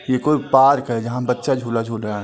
यह कोई पार्क है। जहां बच्चा झूला झूल रहा है।